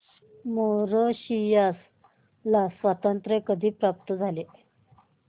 Mauritius ला स्वातंत्र्य कधी प्राप्त झाले